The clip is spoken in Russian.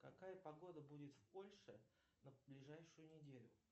какая погода будет в польше на ближайшую неделю